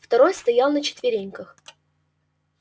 второй стоял на четвереньках